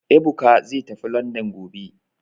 Ebuka zai tafi Landan gobe